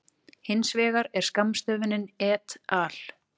Hins vegar er skammstöfunin et al.